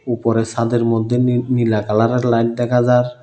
উপরে সাদের মদ্যে নী নীলা কালার -এর লাইট দেখা যার।